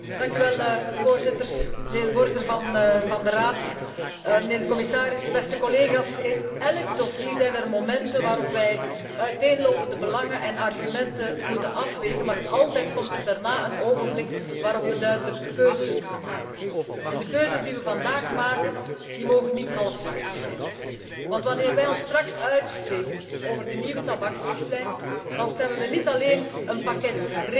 Voorzitter, mijnheer de voorzitter van de Raad, mijnheer de commissaris, beste collega's. In elk dossier zijn er momenten waarop wij uiteenlopende belangen en argumenten moeten afwegen, maar altijd komt er daarna een ogenblik waarop we duidelijke keuzes moeten maken. De keuzes die we vandaag maken, mogen niet halfslachtig zijn. Want wanneer wij ons straks uitspreken over de nieuwe tabaksrichtlijn, dan stemmen we niet alleen over een pakket regeltjes.